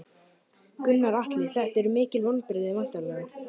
Gunnar Atli: Þetta eru mikil vonbrigði væntanlega?